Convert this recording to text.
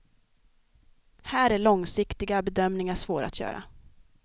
Här är långsiktiga bedömningar svåra att göra.